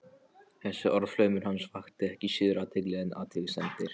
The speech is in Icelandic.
Þessi orðaflaumur hans vakti ekki síður athygli en athugasemdir